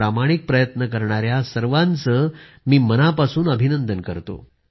प्रामाणिक प्रयत्न करणाऱ्या सर्व महोदयांचं मी मनापासून अभिनंदन करतो